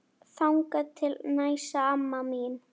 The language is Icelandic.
Þangað til næst amma mín.